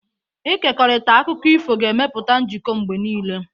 Ịkekọrịta akụkọ ifo ga-emepụta njikọ mgbe niile.